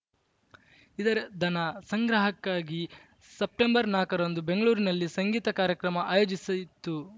ಇದರ ಧನ ಸಂಗ್ರಹಕ್ಕಾಗಿ ಸೆಪ್ಟೆಂಬರ್‌ ನಾಕರಂದು ಬೆಂಗಳೂರಿನಲ್ಲಿ ಸಂಗೀತ ಕಾರ್ಯಕ್ರಮ ಆಯೋಜಿಸಿತ್ತು